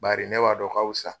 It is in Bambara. Bari ne b'a dɔn o kawusa.